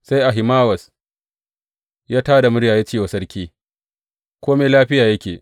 Sai Ahimawaz ya tā da murya ya ce wa sarki, Kome lafiya yake!